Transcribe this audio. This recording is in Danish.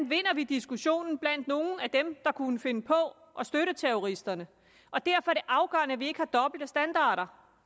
vinder diskussionen blandt nogle af dem der kunne finde på at støtte terroristerne derfor er det afgørende at vi ikke har dobbelte standarder